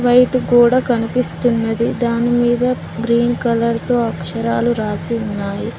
Paint కూడా కనిపిస్తున్నది దానిమీద గ్రీన్ కలర్ తో అక్షరాలు రాసి ఉన్నాయి.